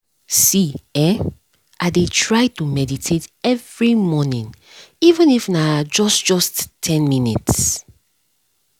see[um]i dey try to meditate every morning even if na just just ten minutes